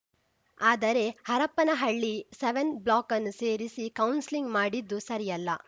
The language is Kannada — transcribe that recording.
ಆದರೆ ಹರಪನಹಳ್ಳಿ ಸೆವೆನ್ ಬ್ಲಾಕ್‌ನ್ನು ಸೇರಿಸಿ ಕೌನ್ಸಿಲಿಂಗ್‌ ಮಾಡಿದ್ದು ಸರಿಯಲ್ಲ